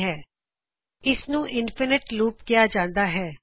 ਇਸ ਨੂੰ infinite loop infinite ਲੂਪਅਸੀਮਿਤ ਲੂਪ ਆਖਿਆ ਜਾਂਦਾ ਹੈ